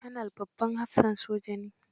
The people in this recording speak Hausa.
Kanal babban hafsan soja ne.